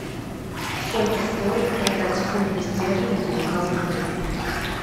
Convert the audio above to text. сколько стоит продать фунты стерлинги в калуге